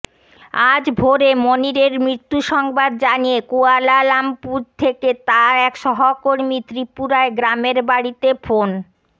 আজ ভোরে মনিরের মৃত্যুসংবাদ জানিয়ে কুয়ালা লামপুর থেকে তাঁর এক সহকর্মী ত্রিপুরায় গ্রামের বাড়িতে ফোন